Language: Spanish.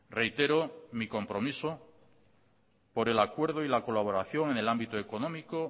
reitero mi compromiso por el acuerdo y la colaboración en el ámbito económico